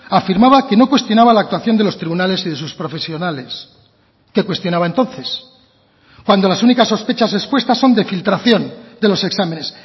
afirmaba que no cuestionaba la actuación de los tribunales y de sus profesionales qué cuestionaba entonces cuando las únicas sospechas expuestas son de filtración de los exámenes